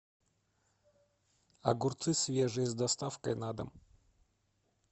огурцы свежие с доставкой на дом